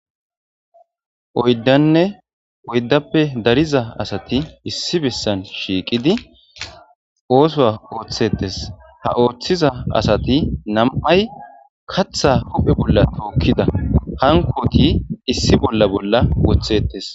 oyddanne oyddappe dariza asati issi bessan shiiqidi oosoa ooththetes ha ooththiza asati nam7ay katha huphe bolla tookkida hankoti issi bolla bolla woththettes